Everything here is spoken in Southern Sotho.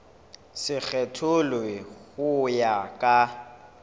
se kgethollwe ho ya ka